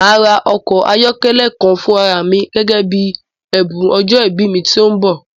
Màá ra ọkọ̀ ayọ́kẹ́lẹ́ kan fún ara à mi gẹ́gẹ́ bí ẹ̀bùn ọjọ́ ìbí mi tí ó ń bọ̀